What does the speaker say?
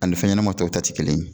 Ani fɛn ɲɛnama tɔw ta ti kelen ye.